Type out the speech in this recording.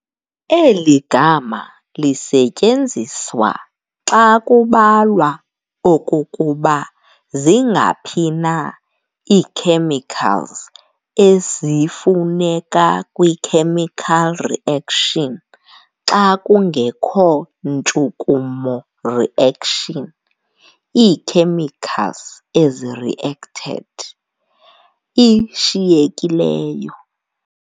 Eli gama lisetyenziswa xa kubalwa okokuba zingaphi na ii-chemicals ezifuneka kwi-chemical reaction xa kungekho ntshukumo reaction, ii-chemicals ezi-reacted, ishiyekileyo.